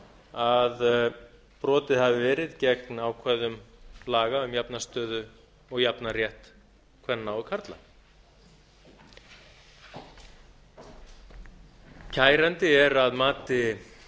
að brotið hafi verið gegn ákvæðum laga um jafna stöðu og jafnan rétt kvenna og karla kærandi er að mati